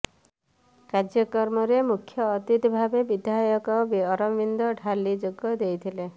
କାର୍ଯ୍ୟକ୍ରମରେ ମୁଖ୍ୟ ଅତିଥି ଭାବେ ବିଧାୟକ ଅରବିନ୍ଦ ଢାଲି ଯୋଗ ଦେଇଥିଲେ